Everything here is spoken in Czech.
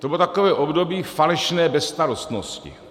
To bylo takové období falešné bezstarostnosti.